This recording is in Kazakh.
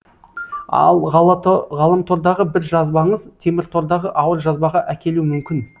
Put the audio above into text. ал ғаламтордағы бір жазбаңыз теміртордағы ауыр жазбаға әкелуі мүмкін